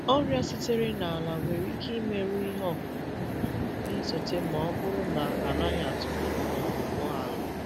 Ọrịa sitere n’ala nwere ike imerụ ihe ọkụkụ um na-esote ma ọ bụrụ na a naghị atụgharị ma ọ bụ gwọọ ala.